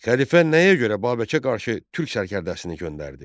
Xəlifə nəyə görə Babəkə qarşı türk sərkərdəsini göndərdi?